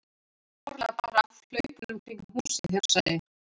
Það var áreiðanlega bara af hlaupunum kringum húsið, hugsaði